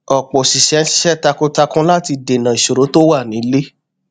ọpọ oṣìṣẹ ń ṣiṣẹ takuntakun láti dènà ìṣòro tó wà nílé